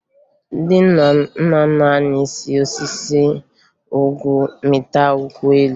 Ndị nna nna anyị si n'osisi nkwụ mịta nkwụ elu